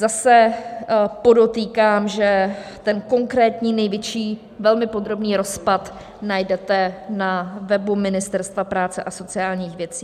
Zase podotýkám, že ten konkrétní největší, velmi podrobný rozpad najdete na webu Ministerstva práce a sociálních věcí.